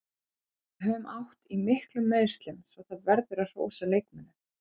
Við höfum átt í miklum meiðslum svo það verður að hrósa leikmönnunum.